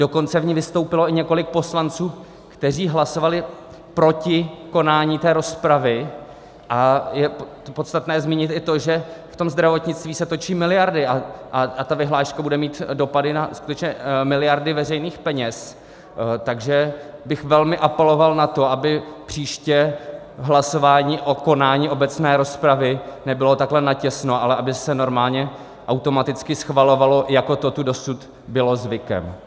Dokonce v ní vystoupilo i několik poslanců, kteří hlasovali proti konání té rozpravy, a je podstatné zmínit i to, že v tom zdravotnictví se točí miliardy a ta vyhláška bude mít dopady na skutečně miliardy veřejných peněz, takže bych velmi apeloval na to, aby příště v hlasování o konání obecné rozpravy nebylo takhle natěsno, ale aby se normálně automaticky schvalovalo, jako to tu dosud bylo zvykem.